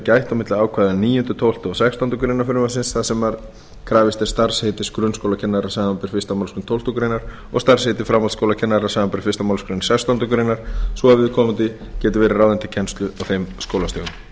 gætt milli ákvæða níundi tólfta og sextándu grein frumvarpsins þar sem krafist er starfsheitis grunnskólakennari samanber fyrstu málsgrein tólftu greinar og starfsheitið framhaldsskólakennari samanber fyrstu málsgrein sextándu grein svo viðkomandi geti verið ráðinn til kennslu á þeim